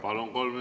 Palun!